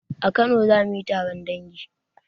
A kano zamuyi taron dangi